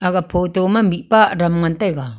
aga photo ma mihpa adam ngan taiga.